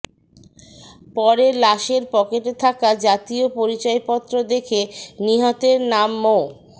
পরে লাশের পকেটে থাকা জাতীয় পরিচয়পত্র দেখে নিহতের নাম মো